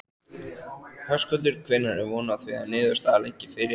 Höskuldur: Hvenær er von á því að niðurstaða liggi fyrir?